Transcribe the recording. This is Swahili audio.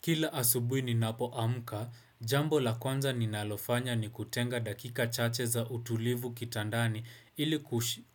Kila asubuhi ninapoamka, jambo la kwanza ninalofanya ni kutenga dakika chache za utulivu kitandani ili